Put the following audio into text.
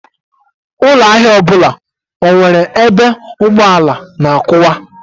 Ụlọ ahịa ọbụla enwere ebe ụgbọala na-akwụwa?